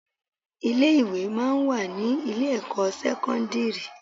Ilé-ìwé máa ń wà ní ilé-ẹ̀kọ́ sẹ́kọ́ndírì